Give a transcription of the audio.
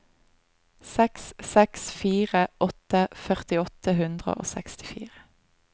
seks seks fire åtte førti åtte hundre og sekstifire